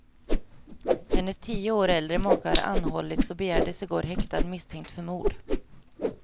Hennes tio år äldre make har anhållits och begärdes i går häktad misstänkt för mord.